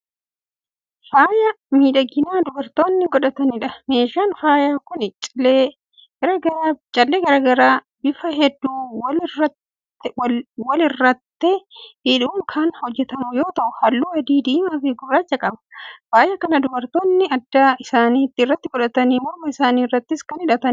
Faaya miidhaginaa dubartoonni godhataniidha. meeshaan faayaa Kuni callee garagaraa bifa hedduu walirraatte hidhuun Kan hojjatamu yoo ta'u halluu adii, diimaafi gurraacha qaba. faaya Kana dubartoonni adda isaanii irraatti yookaan morma isaanii irraatti Kan hidhataniidha.